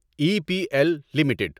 E P L limited